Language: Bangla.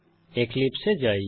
এক্লিপসে এ যাই